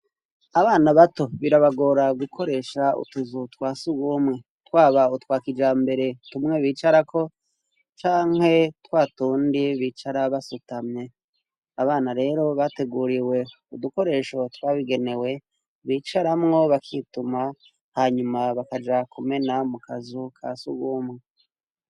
Abana bato birabagora gukoresha utuzu twa surwumwe. Twaba utwa kijambere, tumwe bicarako canke twatundi bicara basutamye. Abana rero bateguriwe udukoresho twabigenewe, bicaramwo bakituma, hanyuma bakaja kumena mu kazu ka surwumwe.